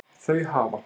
Þau hafa